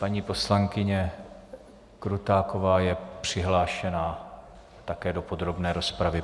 Paní poslankyně Krutáková je přihlášena také do podrobné rozpravy.